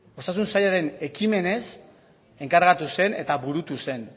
osasun sailaren ekimenez enkargatu zen eta burutu zen